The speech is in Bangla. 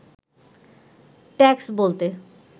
ট্যাক্স বলতে